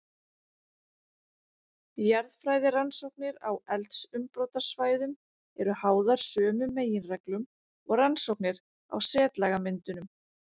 Jarðfræðirannsóknir á eldsumbrotasvæðum eru háðar sömu meginreglum og rannsóknir á setlagamyndunum.